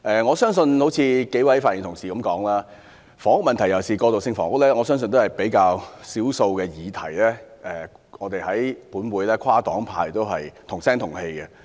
正如數位發言的同事所說，房屋問題，尤其是過渡性房屋，我相信是較少爭議的議題，能獲立法會內跨黨派"同聲同氣"支持。